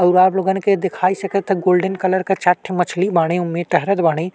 अउर आप लोगन के देखाई सकता गोल्डेन कलर के चार ठे मछली बाड़ें ओमे टहरत बाड़ें।